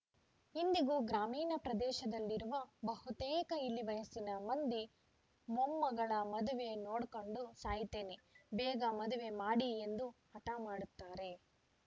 ಇಂದಿಗೂ ಗ್ರಾಮೀಣ ಪ್ರದೇಶದಲ್ಲಿರುವ ಬಹುತೇಕ ಇಳಿವಯಸ್ಸಿನ ಮಂದಿ ಮೊಮ್ಮಗಳ ಮದುವೆ ನೋಡ್ಕಂಡು ಸಾಯ್ತೇನೆ ಬೇಗ ಮದುವೆ ಮಾಡಿ ಎಂದು ಹಠ ಮಾಡುತ್ತಾರೆ